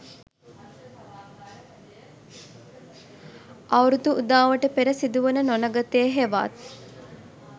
අවුරුදු උදාවට පෙර සිදුවන නොනගතය හෙවත්